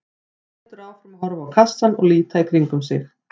Hann heldur áfram að horfa á kassann og líta í kringum sig.